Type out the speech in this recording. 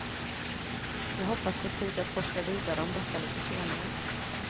Jag hoppas få tid att forska vidare om detta lite senare.